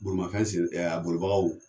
Bolimafɛnse ɛ a bolibagaw